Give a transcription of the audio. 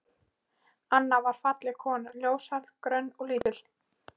Anna var falleg kona, ljóshærð, grönn og lítil.